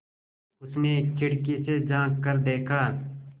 उसने खिड़की से झाँक कर देखा